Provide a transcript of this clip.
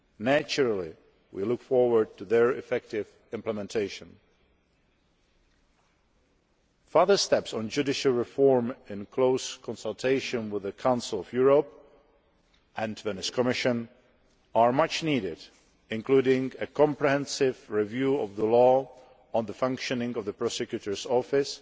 Naturally we look forward to their effective implementation. Further steps on judicial reform in close consultation with the Council of Europe and the Venice Commission are much needed, including a comprehensive review of the law on the functioning of the Prosecutor's Office